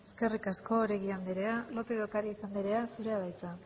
eskerrik asko oregi andrea lópez de ocariz andrea zurea da hitza